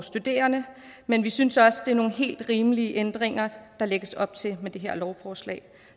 studerende men vi synes også det er nogle helt rimelige ændringer der lægges op til med det her lovforslag